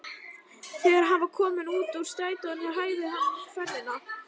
Þegar hann var kominn út úr strætinu hægði hann ferðina.